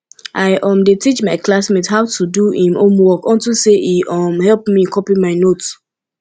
i um dey teach my classmate how to do im homework unto say e um help me copy my note